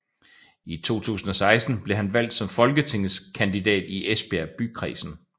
I 2016 blev han valgt som folketingskandidat i Esbjerg Bykredsen